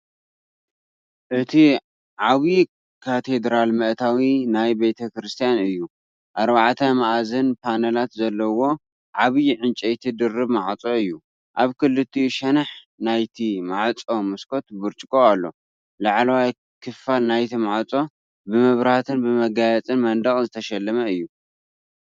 እቲ ዓብይ ካቴድራል መእተዊ ናይቲ ቤተ ክርስትያን እዩ። 4+መኣዝን ፓነላት ዘለዎ ዓቢ ዕንጨይቲ ድርብ ማዕጾ እዩ። ኣብ ክልቲኡ ሸነኽ ናይቲ ማዕጾ መስኮት ብርጭቆ ኣሎ። ላዕለዋይ ክፋል ናይቲ ማዕጾ ብመብራህትን ብመጋየጺ መንደቕን ዝተሸለመ እዩ።